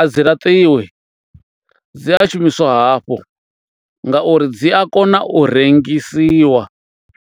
a dzi laṱiwi dzi a shumiswa hafhu ngauri dzi a kona u rengisiwa.